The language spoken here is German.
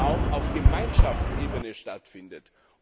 auch auf Gemeinschaftsebene stattfindet.